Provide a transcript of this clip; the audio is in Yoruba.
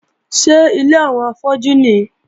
Ṣé ilé àwọn afọ́jú nìí?